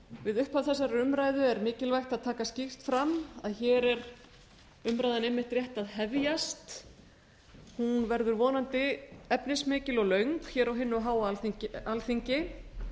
við upphaf þessarar umræðu er mikilvægt að taka skýrt fram að hér er umræðan rétt að hefjast hún verður vonandi efnismikil og löng á hinu háa alþingi